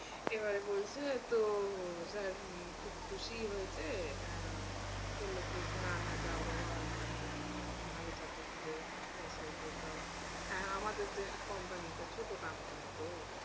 এবারে বলছে তো sir খুব খুশিই হয়েছে আহ বলল কি না না যাও বাবা তুমি ভালো চাকরি খুঁজে পাইছো তো যাও, আমাদের যে company টা ছোটো company তো।